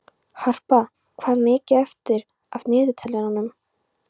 Harpa, hvað er mikið eftir af niðurteljaranum?